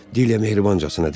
Dilya mehribancasına dedi.